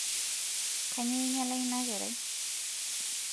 kanyoo inyala ina kerai